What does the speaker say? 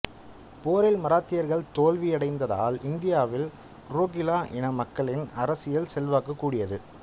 போரில் மராத்தியர்கள் தோல்வியடைந்ததால் இந்தியாவில் ரோகில்லா இன மக்களின் அரசியல் செல்வாக்கு கூடியது